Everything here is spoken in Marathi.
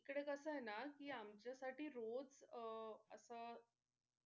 कस आहे ना कि आमच्यासाठी रोज अह असं